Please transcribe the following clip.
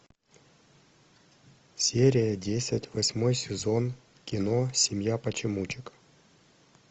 серия десять восьмой сезон кино семья почемучек